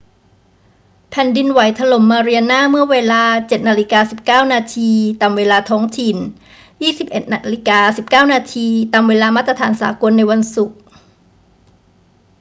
แผ่นดินไหวถล่มมาเรียนาเมื่อเวลา 07.19 น. ตามเวลาท้องถิ่น 21.19 น. เวลามาตรฐานสากล ในวันศุกร์